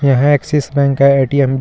यह Axis bank का ATM जिस--